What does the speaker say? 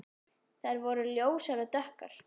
Þær voru ljósar og dökkar.